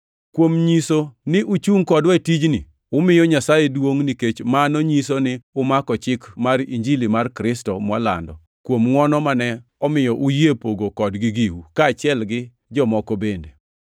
Kuom nyiso ni uchungʼ kodwa e tijni, umiyo Nyasaye duongʼ nikech mano nyiso ni umako chik mar Injili mar Kristo mwalando, kuom ngʼwono mane omiyo uyie pogo kodgi giu, kaachiel gi jomoko bende.